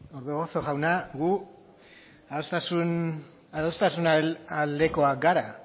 orbegozo jauna gu adostasunaren aldekoak gara